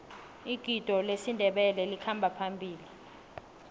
igido lesindebele likhamba phambili